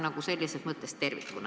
Vaadake seda olukorda tervikuna.